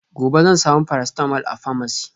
gobe zan samu paracetamol a pharmacy